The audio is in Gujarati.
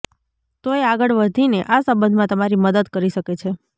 તોઈ આગળ વધીને આ સંબંધમાં તમારી મદદ કરી શકે છે